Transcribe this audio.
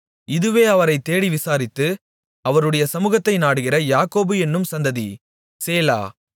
இதுவே அவரைத் தேடி விசாரித்து அவருடைய சமுகத்தை நாடுகிற யாக்கோபு என்னும் சந்ததி சேலா